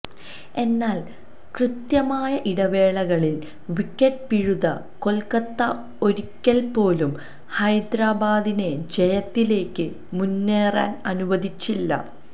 എന്നാല് കൃത്യമായ ഇടവേളകളില് വിക്കറ്റ് പിഴുത കൊല്ക്കത്ത ഒരിക്കല്പ്പോലും ഹൈദരാബാദിനെ ജയത്തിലേക്ക് മുന്നേറാന് അനുവദിച്ചില്ല